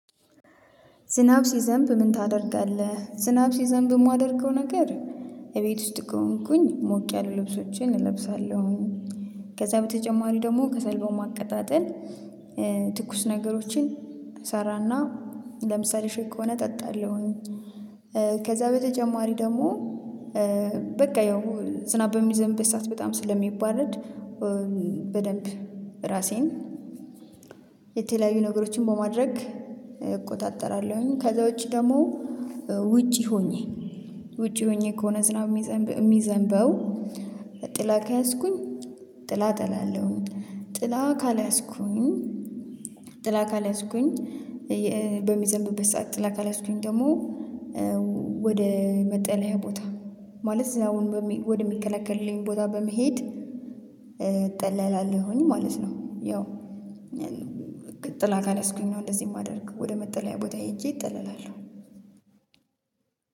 ዝናብ ሲዘንብ ምን ታደርጋለህ? ዝናብ ሲዘንብ የማደርገው ነገር እቤት ውስጥ ከሆንኩኝ ሞቅ ያሉ ልብሶችን እለብሳለሁ። ከዛ በተጨማሪ ደግሞ ከሰል በማቀጣጠል ትኩስ ነገሮችን እሰራና ለምሳሌ ሹክ ከሆነ እጠጣለሁኝ። ከዛ በተጨማሪ ደግሞ በቃ ያው ዝናብ በሚዘንብ ሰዓት በጣም ስለሚባረድ በደንብ ራሴን የተለያዩ ነገሮችን በማድረግ እቆጣጠራለሁኝ። ከዛ ውጪ ደግሞ ውጪ ሆኜ ውጪ ሆኜ ከሆነ ዝናብ የሚዘንበው ጥላ ከያዝኩኝ ጥላ እጠላለሁ። ጥላ ካልያዝኩኝ ጥላ ካልያዝኩኝ በሚዘንብበት ሰዓት ጥላ ካልያዝኩኝ ደግሞ ወደ መጠለያ ቦታ ማለት አሁን ወደ ሚከላከልልኝ ቦታ በመሄድ እጠለላለሁኝ ማለት ነው። ያው ጥላ ካልያዝኩኝ ነው እንደዚህ የማደርገው ወደ መጠለያ ቦታ ሄጄ እጠላለሁ።